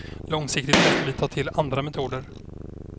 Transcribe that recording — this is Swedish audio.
Långsiktigt måste vi ta till andra metoder.